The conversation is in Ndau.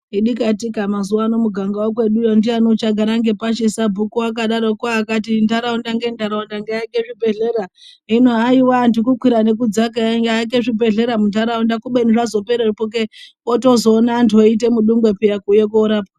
Idikatika mazuvano mumuganga wekweduyo ndiyani uchagara ngepashi sabhuku akadarokwo akati ntaraunda ngentaraunda ngaiake zvibhedhlera hino haiwa antu kukwira nekudzaka eiaka zvibhedhlera muntaraunda kubeni zvazoperepo kee wozotoona antu eiita mudungwe eiuya kuzotorapwa.